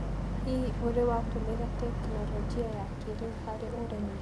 Hihi, ũrĩ watĩmĩra tekinoronjĩ ya kĩrĩu harĩ ũrĩmi?